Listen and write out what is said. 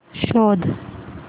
शोध